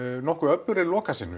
nokkuð öflugri